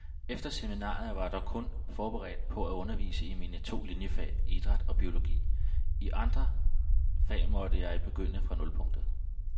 Efter seminariet var jeg kun forberedt på at undervise i mine to liniefag, idræt og biologi, i alle andre fag måtte jeg begynde fra nulpunktet.